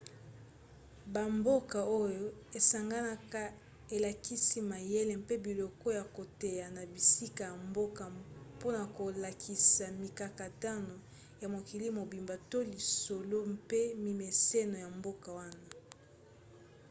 bamboka oyo esanganaka elakisaki mayele mpe biloko ya koteya na bisika ya mboka mpona kolakisa mikakatano ya mokili mobimba to lisolo mpe mimeseno ya mboka wana